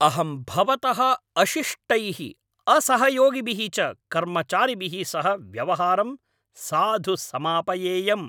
अहं भवतः अशिष्टैः असहयोगिभिः च कर्मचारिभिः सह व्यवहारं साधु समापयेयम्।